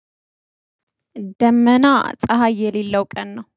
ደመና ፀሀይ የሌለው ቀን ነው